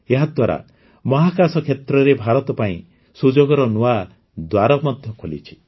ଏହାଦ୍ୱାରା ମହାକାଶ କ୍ଷେତ୍ରରେ ଭାରତ ପାଇଁ ସୁଯୋଗର ନୂଆ ଦ୍ୱାର ମଧ୍ୟ ଖୋଲିଛି